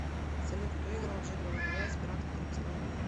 салют кто играл джека воробья из пиратов карибского моря